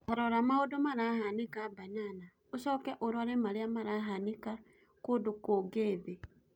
Tarũra maũndũ marahanĩka Banana ũcokĩ ũrũrĩ marĩa marahanĩka kũndu kũngĩ thĩ